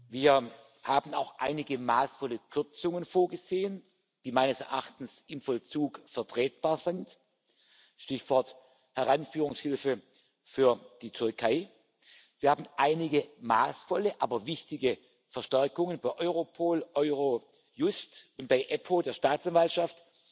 Wir haben auch einige maßvolle Kürzungen vorgesehen, die meines Erachtens im Vollzug vertretbar sind Stichwort Heranführungshilfe für die Türkei wir haben einige maßvolle, aber wichtige Verstärkungen bei Europol, Eurojust und bei EPPO, der Staatsanwaltschaft,